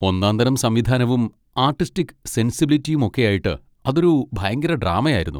ഒന്നാംതരം സംവിധാനവും ആർട്ടിസ്റ്റിക് സെൻസിബിലിറ്റിയും ഒക്കെയായിട്ട് അതൊരു ഭയങ്കര ഡ്രാമ ആയിരുന്നു.